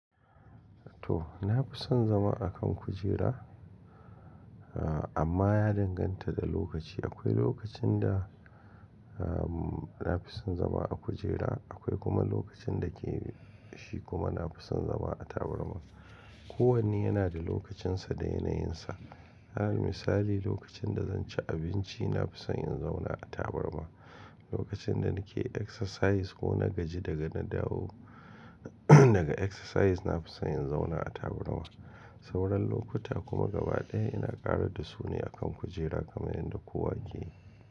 To, na fi son zama a kan kujera, amma ya danganta da lokaci. Akwai lokacin da, ah, na fi son zama a kujera, akwai kuma lokacin da ke shi kuma na fi son zama a tabarma. Kowanne yana da lokacinsa da yanayinsa. Misali lokacin da zan ci abinci na fi son in zauna a tabarma. Lokacin da nake exercise ko na gaji daga na dawo daga exercise na fi son in zauna a tabarma. Sauran lokuta kuma gaba ɗaya ina ƙara da su ne a kan kujera kamar yadda kowa yake yi.